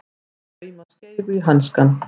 Að lauma skeifu í hanskann